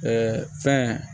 fɛn